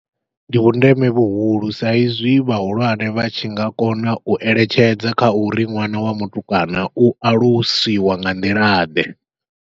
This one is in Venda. Ndi vhundeme vhuhulu sa izwi vhahulwane vha tshi nga kona u eletshedza kha uri ṅwana wa mutukana u alusiwa nga nḓila ḓe.